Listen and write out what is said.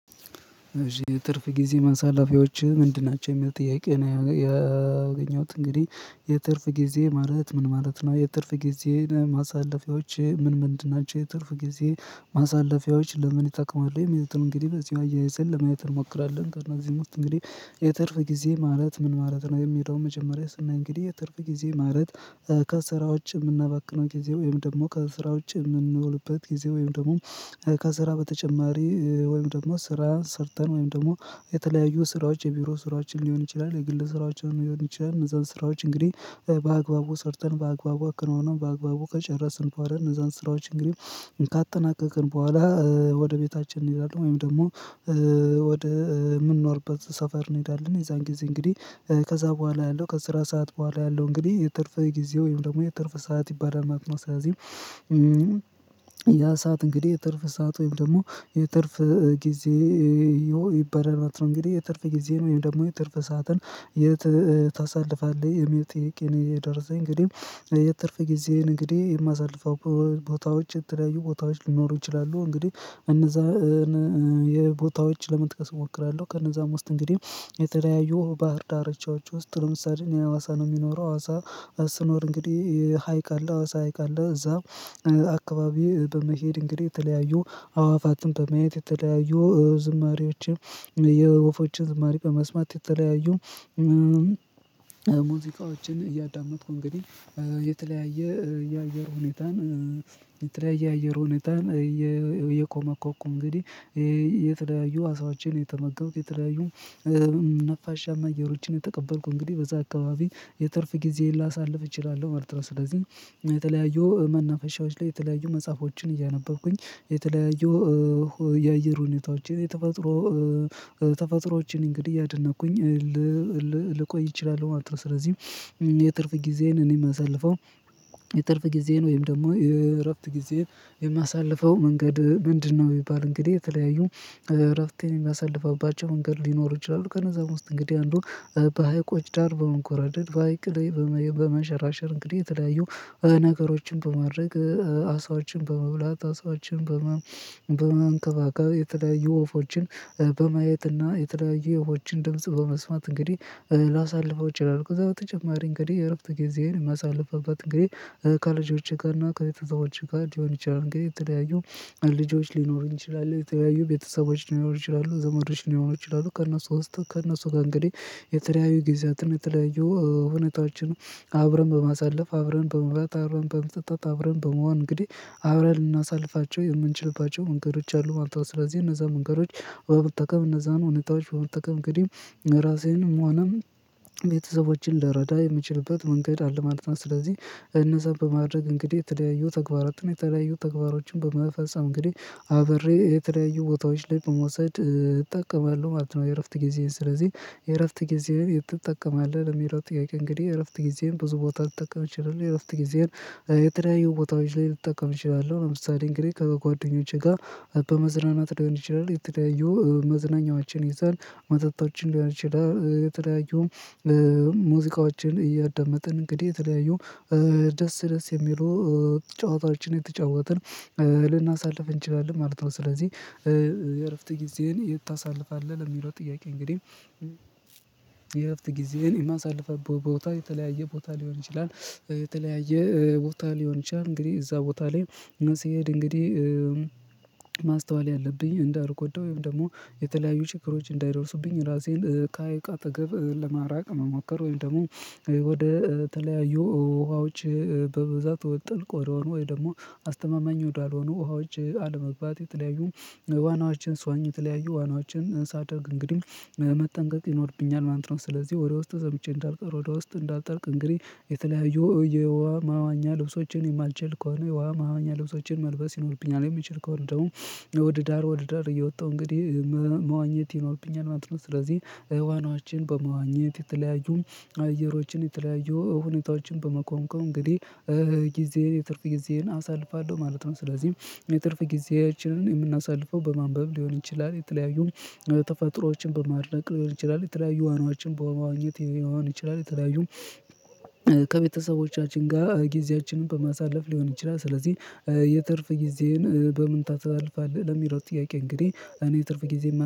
እሺ የትርፍ ጊዜ ማሳላፊያዎች ምንድን ናቸው የሚል ጥያቄ ያገኘሁት እንግዲህ የትርፍ ጊዜ ማለት ምን ማለት ነው የትርፍ ጊዜን ማሳለፊያዎች ምን ምንድን ናቸው የትርፍ ጊዜ ማሳለፊያዎች ለምን ይጠቅማል የሚለው እንግዲህ በዚህ አያይዘን ለማየት እንሞክራለን። ከእናንተ እዚህ ሙስት እንግዲህ የትርፍ ጊዜ ማለት ምን ማለት ነው። የሚለውን መጀመሪያ ስናይ እንግዲህ የትርፍ ጊዜ ማለት ከስራ ውጭ የምናባክነው ጊዜ ወይም ደግሞ ከስራ ውጪ የምንኖርበት ጊዜ ወይም ደግሞ ከስራ በተጨማሪ ወይም ደግሞ ስራ ሰርተን ወይም ደግሞ የተለያዩ ስራዎች የቢሮ ስራዎችን ሊሆን ይችላል። የግል ስራዎችን ሊሆን ይችላል። እዛው ስራዎች እንግዲህ በአግባቡ ሰርተን በአግባቡ አከናውነን በአግባቡ ከጨረስን እንኳን እነዛን ስራዎች እንግዲህ ካጠናቀቅን በኋላ ወደ ቤታችን እንሔዳለን። ወይም ደግሞ ወደ ምንኖርበት ሰፈር እንሄዳለን። የዛን ጊዜ እንግዲህ ከዛ በኋላ ያለው ከስራ ሰዓት በኋላ ያለው እንግዲህ የትርፍ ጊዜ ወይም ደግሞ የትርፍ ሰዓት ይባላል ማለት ነው። ስለዚህ ያ ሰዓት እንግዲህ የትርፍ ሰዓት ወይም ደግሞ የትርፍ ጊዜ ይባላል ማለት ነው። እንግዲህ የትርፍ ጊዜ ወይም ደግሞ የትርፍ ሰዓትን የት ታሳልፋለህ? የሚል ጥያቄ እኔ የደረሰኝ እንግዲህ የትርፍ ጊዜዬን እንግዲህ የማሳልፈው ቦታዎች የተለያዩ ቦታዎች ሊኖሩ ይችላሉ። እንግዲህ እነዛ የቦታዎች ለመጥቀስ እሞክራለሁ። ከእነዛም ውስጥ እንግዲህ የተለያየ ባህር ዳርቻዎች ውስጥ ለምሳሌ የአዋሳ ነው የሚኖረው አዋሳ ስኖር እንግዲህ ሀይቅ አለ። አዋሳ ሀይቅ አለ። እዛም አካባቢው በመሄድ እንግዲህ የተለያዩ አዋፋትን በማየት የተለያዩ ዝማሬዎችም የወፎችም ዝማሬ በመስማት የተለያዩ ሙዚቃዎችን እያዳመጥኩ እንግዲህ የተለያየ የአየር ሁኔታን የተለያየ አየር ሁኔታን እየኮመኮምኩ እንግዲህ የተለያየ አሳዎችን የተመገብኩ የተለያዩ ነፋሻማ አየሮችን የተቀበልኩ እንግዲህ በዛ አካባቢ የትርፍ ጊዜን ላሳልፍ እችላለሁ። መርጥለው ስለዚህ የተለያዩ መናፈሻዎች ላይ የተለያዩ መጽሐፎችን እያነበብኩኝ የተለያዩ የአየር ሁኔታዎችን የተፈጥሮ እንግዲህ እያደነቅኩኝ ልቆይ እችላለሁ ማለት ነው። ስለዚህ የትርፍ ጊዜዬን እኔ የማሳልፈው የትርፍ ጊዜዬን ወይም ደግሞ የእረፍት ጊዜን የማሳልፈው መንገድ ምንድነው? ቢባል እንግዲህ የተለያዩ እረፍቴን የሚያሳልፍባቸው መንገድ ሊኖር ይችላሉ። ከነዛ ውስጥ እንግዲህ አንዱ በሃይቆች በመንጎራደድ በሃይቅ ላይ በመሸራሸር እንግዲህ የተለያዩ ነገሮችን በማድረግ አሳዎችን በመብላት አሳዎችን በማንከባከብ የተለያዩ ወፎችን በማየትና የተለያዩ ወፎችን ድምጽ በመስማት እንግዲህ ላሳልፈው እችላለሁ። ከዛ በተጨማሪ እንግዲህ የእረፍት ጊዜዬን ማሳለፍበት እንግዲህ ከልጆቼ ጋር እና ከቤተሰቦቼ ጋር ሊሆን ይችላል። እንግዲህ የተለያዩ ልጆች ሊኖሩ ይችላሉ። የተለያዩ ቤተሰቦች ሊኖሩ ይችላሉ። ዘመዶች ሊሆኑ ይችላሉ። ከእነሱ ውስጥ ከእነሱ ጋር እንግዲህ የተለያዩ ጊዜያትነ የተለያዩ ሁኔታዎችን አብረን በማሳለፍ አብረን በመብላት አብረን በመጠጣት አብረን በመሆን እንግዲህ አብረን ልናሳልፋቸው የምንችልባቸው መንገዶች አሉ ማለት ነው። ስለዚህ እነዛ መንገዶች በመጠቀም እነዛን እውነታዎች በመጠቀም እንግዲህ ራሴን መሆኑን ቤተሰቦቼን ልረዳ የምችልበት መንገድ አለ ማለት ነው። ስለዚህ እነዛን በማድረግ እንግዲህ የተለያዩ ተግባራትን የተለያዩ ተግባራቶችን በመፈጸም እንግዲህ አብሬ የተለያዩ ቦታዎች ላይ በመውሰድ እጠቀማለሁ ማለት ነው። የእረፍት ጊዜን ስለዚህ የእረፍት ጊዜን ትጠቀማለህ? ለሚለው ጥያቄ እንግዲህ የእረፍት ጊዜን ብዙ ቦታ ልጠቀም እችላለሁ። እረፍት ጊዜየን የተለያዩ ቦታዎች ላይ ልጠቀም እችላለሁ። ለምሳሌ እንግዲህ ከጓደኞቼ ጋር በመዝናናት ሊሆን ይችላል። የተለያዩ መዝናኛችን ይዘን መጠጣችን ሊሆን ይችላል። የተለያዩ ሙዚቃዎችን እያዳመጥን እንግዲህ የተለያዩ ደስ ደስ የሚለው ጨዋታዎችን የተጫወትን ልናሳልፍ እንችላለን ማለት ነው። ስለዚህ የእረፍት ጊዜን ይሄን የት ታሳልፋለህ? ለሚለው ጥያቄ እንግዲህ የእረፍት ጊዜን እኔ የማሳልፍ ቦታ የተለያየ ቦታ ሊሆን ይችላል። የተለያየ ቦታ ሊሆን ይችላል። እንግዲህ እዛ ቦታ ላይ ሲሄድ እንግዲህ ማስተዋል ያለብኝ እንዳልጎዳ ወይም ደግሞ የተለያዩ ችግሮች እንዳይደርሱብኝ ራሴን ከሐይቅ አጠገብ ለማራቅ መሞከር ወይም ደግሞ ወደ ተለያዩ ውሃዎች በብዛት ጥልቅ ወደሆኑ ወይ ደግሞ አስተማማኝ ወዳልሆኑ ውሃዎች አለመግባት የለያዩ ዋናዎችን ስዋኝ የተለያዩ ዋናዎችን እንሳደርግ እንግዲ መጠንቀቅ ይኖርብኛል ማለት ነው። ስለዚህ ወደ ውስጥ ሰምጬ እንዳልቀር ወደ ውስጥ እንዳልጠልቅ እንግዲህ የተለያዩ የውሃ ማዋኛ ልብሶችን የማልችል ከሆነ የውሃ ማዋኛ ልብሶችን መልበስ ይኖርብኛል። የሚችል ከሆነ ደግሞ ወደ ዳር ወደ ዳር እየወጣሁ እንግዲህ መዋኘት ይኖርብኛል ማለት ነው። ስለዚህ ህዋናችን በመዋኘት የተለያዩ አየሮችን የተለያዩ ሁኔታዎችን በመኮምኮም እንግዲህ ጊዜዬን የትርፍ ጊዜዬን አሳልፋለሁ ማለት ነው። ስለዚህ የትርፍ ጊዜያችንን የምናሳልፈው በማንበብ ሊሆን ይችላል። የተለያዩን ተፈጥሮዎችን በማድነቅ ሊሆን ይችላል። የተለያዩ ዋናዎችን በመዋኘት ሊሆን ይችላል። የተለያዩ ከቤተሰቦቻችን ጋር ጊዜያችንን በማሳለፍ ሊሆን ይችላል። ስለዚህ የትርፍ ጊዜዬን በምን ታሳልፋለህ ለሚለው ጥያቄ እንግዲህ እኔ ትርፍ ጊዜ